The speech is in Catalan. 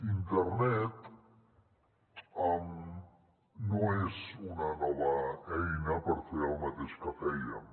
internet no és una nova eina per fer el mateix que fèiem